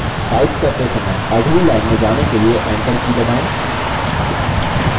type करते समय अगली line में जाने के लिए enter की दबाएँ